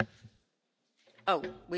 We were talking about Thursday.